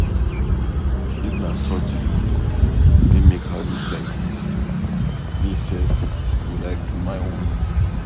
If na surgery wey make her look like dis me sef go like do my own.